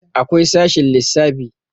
akwai sashen lissafi